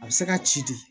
A bɛ se ka ci de